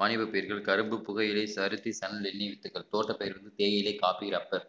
வாணிப பயிர்கள் கரும்பு புகையிலை பருத்தி வித்துகள் தோட்டத்தில் இருந்து தேயிலை coffee rubber